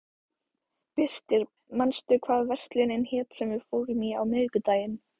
Birtir, manstu hvað verslunin hét sem við fórum í á miðvikudaginn?